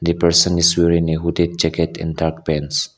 the person is wearing a hoodie jacket and dark pants.